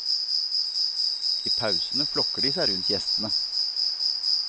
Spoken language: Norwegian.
I pausene flokker de seg rundt gjestene.